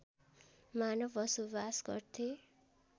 मानव बसोबास गर्थे